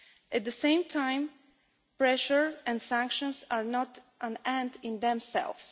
At the same time, pressure and sanctions are not an end in themselves.